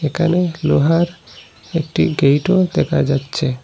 একানে লোহার একটি গেটও দেখা যাচ্ছে।